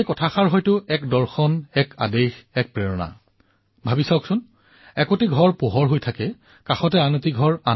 এইবাৰ আমি আমাৰ সমাজত গাঁৱত চহৰত কন্যাসকলৰ সন্মানাৰ্থে কিবা কাৰ্যসূচীৰ আয়োজন কৰিব পাৰো নেকি সাৰ্বজনিক কাৰ্যসূচী পালন কৰিব পাৰো